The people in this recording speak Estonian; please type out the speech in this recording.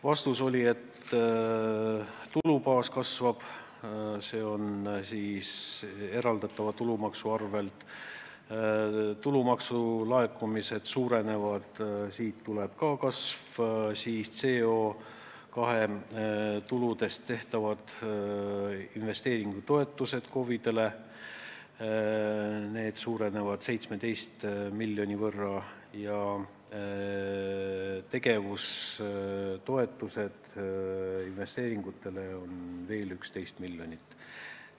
Vastus oli, et tulubaas kasvab eraldatava tulumaksu arvel: tulumaksu laekumised suurenevad, CO2 tuludest tehtavad investeeringutoetused KOV-idele suurenevad 17 miljoni võrra ning tegevus- ja investeeringutoetused annavad veel 11 miljonit.